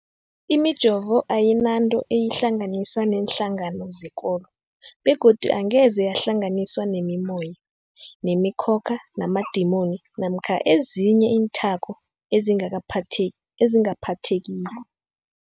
Imijovo ayinanto eyihlanganisa neenhlangano zekolo begodu angeze yahlanganiswa nemimoya, nemi khokha, namadimoni namkha ezinye iinthako ezingaphatheki